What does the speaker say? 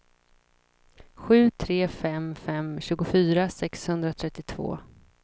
sju tre fem fem tjugofyra sexhundratrettiotvå